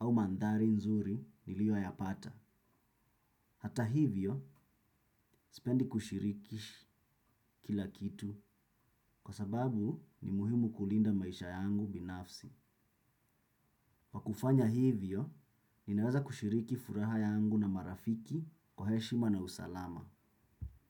au mandhari nzuri niliyo ya pata. Hata hivyo, spendi kushirikish kila kitu kwa sababu ni muhimu kulinda maisha yangu binafsi. Pakufanya hivyo, ninaweza kushiriki furaha yangu na marafiki kwa heshima na usalama.